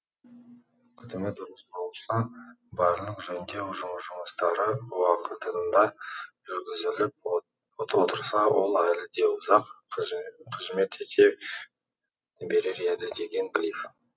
күтімі дұрыс болса барлық жөндеу жұмыстары уақытында жүргізіліп отырса ол әлі де ұзақ қызмет ете берер еді деген глив